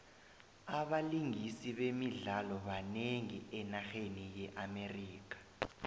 abalingisi bemidlalo banengi enarheni ye amerika